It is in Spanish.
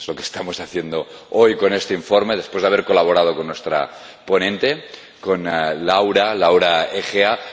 Es lo que estamos haciendo hoy con este informe, después de haber colaborado con nuestra ponente, Laura Agea.